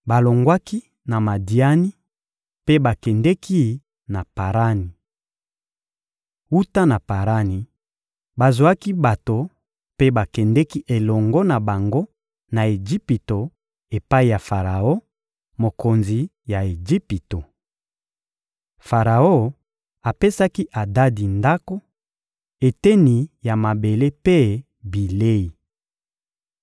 Balongwaki na Madiani mpe bakendeki na Parani. Wuta na Parani, bazwaki bato mpe bakendeki elongo na bango na Ejipito epai ya Faraon, mokonzi ya Ejipito. Faraon apesaki Adadi ndako, eteni ya mabele mpe bilei.